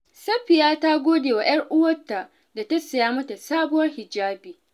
Safiya ta gode wa 'yar uwarta da ta saya mata sabuwar hijabi.